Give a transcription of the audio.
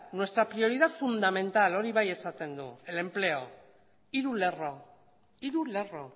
nuestra prioridad fundamental hori bai esaten du el empleo hiru lerro hiru lerro